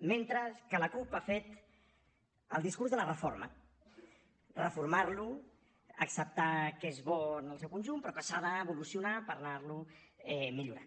mentre que la cup ha fet el discurs de la reforma reformar lo acceptar que és bo en el seu conjunt però que s’ha d’evolucionar per anar lo millorant